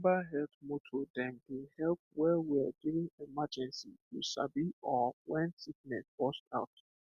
mobile health motor dem dey help wellwell during emergency you sabi or when sickness burst out